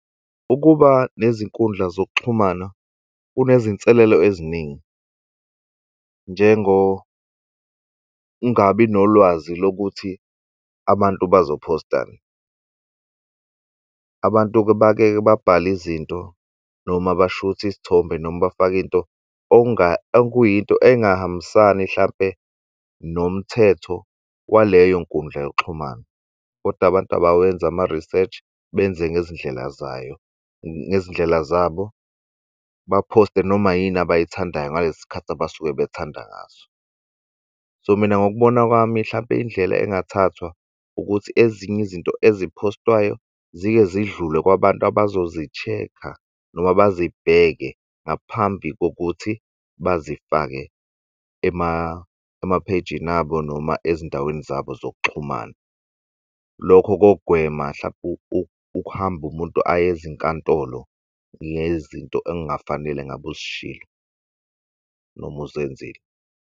Ukuba nezinkundla zokuxhumana, kunezinselelo eziningi, njengokungabi nolwazi lokuthi abantu bazophostani. Abantu bake-ke babhale izinto, noma bashuthe isithombe, noma bafake into okuyinto engahambisani, hlampe nomthetho waleyo nkundla yokuxhumana. Kodwa abantu abawenzi ama-research, benze ngezindlela zayo, ngezindlela zabo, bephoste noma yini abayithandayo ngalesi khathi abasuke bethanda ngaso. So mina, ngokubona kwami, hlampe indlela engathathwa ukuthi ezinye izinto eziphostwayo zike zidlule kwabantu abazozi-check-a, noma bezibheke ngaphambi kokuthi bazifake emaphejini abo, noma ezindaweni zabo zokuxhumana. Lokho kogwema, hlampe ukuhamba umuntu aye ezinkantolo ngezinto engafanele ngabe uzishilo, noma uzenzile.